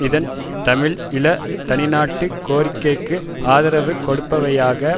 அதன் தமிழ் ஈழ தனிநாட்டுக் கோரிக்கைக்கு ஆதரவு கொடுப்பவையாக